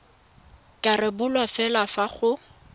ka rebolwa fela fa go